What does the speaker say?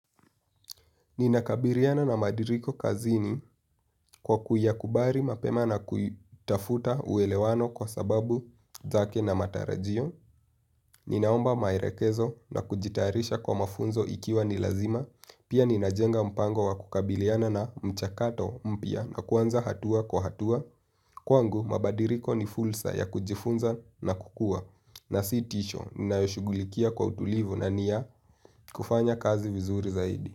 Ninakabiliana na mabadiliko kazini kwa kuyakubali mapema na kutafuta uelewano kwa sababu zake na matarajio. Ninaomba maelekezo na kujitayarisha kwa mafunzo ikiwa ni lazima. Pia ninajenga mpango wa kukabiliana na mchakato mpya na kuanza hatua kwa hatua. Kwangu, mabadiliko ni fursa ya kujifunza na kukua. Na si tisho, ninayoshughulikia kwa utulivu na ni ya kufanya kazi vizuri zaidi.